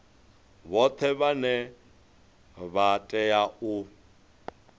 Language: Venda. vhoṱhe vhane vha tea u